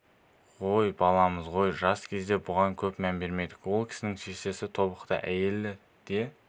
ғой баламыз ғой жас кезде бұған көп мән бермедік ол кісінің шешесі тобықты әйелі де